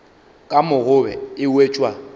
ka mo gobe e wetšwa